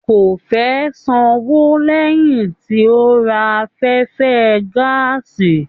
Kò fẹ sanwó lẹyìn tí o ra afẹfẹ gàásí.